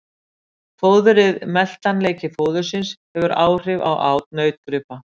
Fóðrið Meltanleiki fóðursins hefur áhrif á át nautgripa.